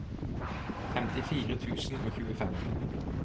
femtifire tusen og tjuefem